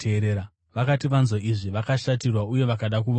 Vakati vanzwa izvi, vakashatirwa uye vakada kuvauraya.